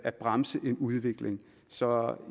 at bremse en udvikling så